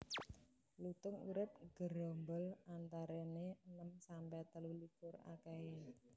Lutung urip nggerombol antarané enem sampe telu likur akéhé